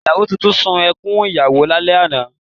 Ìyàwó tuntun sun ẹkún ìyàwó lálẹ́ àná